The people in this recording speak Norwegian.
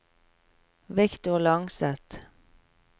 Victor Langseth